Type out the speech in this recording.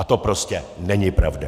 A to prostě není pravda.